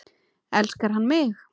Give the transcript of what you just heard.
Elskar hann mig?